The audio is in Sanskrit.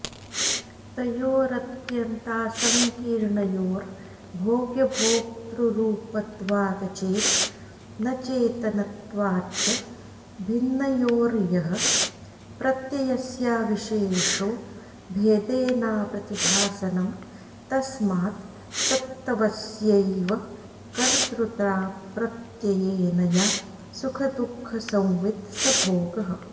तयोरत्यन्तासंकीर्णयोर्भोग्यभोक्तृरूपत्वादचेतनचेतनत्वाच्च भिन्नयोर्यः प्रत्ययस्याविशेषो भेदेनाप्रतिभासनं तस्मात् सत्त्वस्यैव कर्तृताप्रत्ययेन या सुखदुःखसंवित् स भोगः